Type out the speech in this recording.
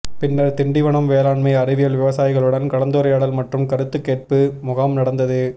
பின்னர் திண்டிவனம் வேளாண்மை அறிவியல் விவசாயிகளுடன் கலந்துரையாடல் மற்றும் கருத்து கேட்பு முகாம் நடந்தது